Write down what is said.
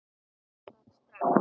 Bara strax.